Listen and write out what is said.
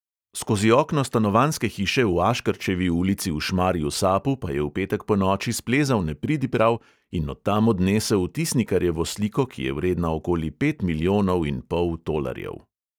Skozi okno stanovanjske hiše v aškerčevi ulici v šmarju-sapu pa je v petek ponoči splezal nepridiprav in od tam odnesel tisnikarjevo sliko, ki je vredna okoli pet milijonov in pol tolarjev.